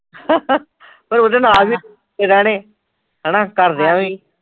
ਹਾ ਹਾ ਤੇ ਉਹਦੇ ਨਾਲ ਵੀ ਰਹਿਣੇ ਹੈਨਾ ਘਰ ਦਿਆਂ ਵੀ